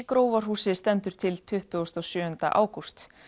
Grófarhúsi stendur til tuttugasta og sjöunda ágúst